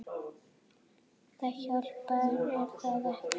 Það hjálpar er það ekki?